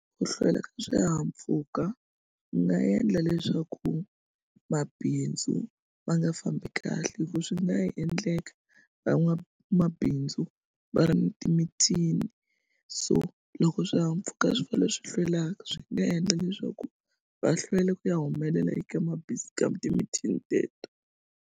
Ku hlwela ka swihahampfhuka ku nga endla leswaku mabindzu ma nga fambi kahle hikuva swi nga ha endleka van'wabindzu va ri ni timithini so loko swihahampfhuka swi va leswi hlwelaka swi nga endla leswaku va hlwela ku ya humelela eka ka timithini teto.